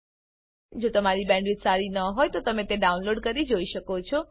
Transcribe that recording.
જો તમારી બેન્ડવિડ્થ સારી ન હોય તો તમે ડાઉનલોડ કરી તે જોઈ શકો છો